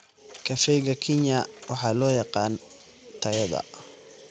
Kafeega Keenya waxaa loo yaqaan tayada.